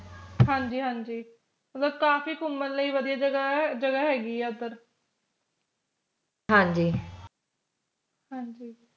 ਹਾਂਜੀ ਹਾਂਜੀ ਮਤਲਬ ਕਾਫੀ ਘੁੰਮਣ ਲਈ ਵਧੀਆ ਜਗਾਹ ਆ ਹੈਗੀ ਆ ਓਦਰ